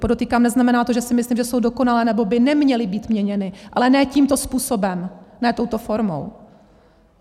Podotýkám, neznamená to, že si myslím, že jsou dokonalé, nebo by neměly být měněny, ale ne tímto způsobem, ne touto formou.